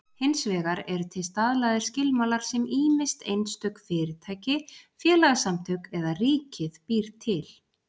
Hins vegar eru til staðlaðir skilmálar sem ýmist einstök fyrirtæki, félagasamtök eða ríkið býr til.